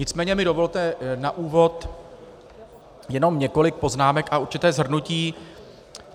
Nicméně mi dovolte na úvod jenom několik poznámek a určité shrnutí.